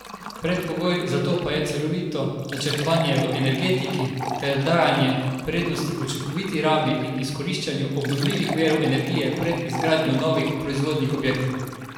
Predpogoj za to pa je celovito načrtovanje v energetiki ter dajanje prednosti učinkoviti rabi in izkoriščanju obnovljivih virov energije pred izgradnjo novih proizvodnih objektov.